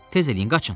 Tez eləyin, qaçın!